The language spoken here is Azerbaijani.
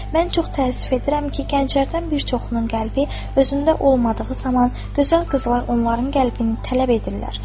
Mən çox təəssüf edirəm ki, gənclərdən bir çoxunun qəlbi özündə olmadığı zaman gözəl qızlar onların qəlbini tələb edirlər.